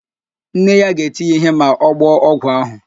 Nne ya ga-eti ya ihe ma ọ gbọọ ọgwụ ahụ.